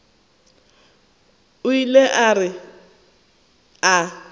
o ile a re a